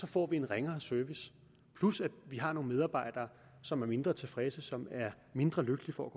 får vi en ringere service plus at vi har nogle medarbejdere som er mindre tilfredse som er mindre lykkelige for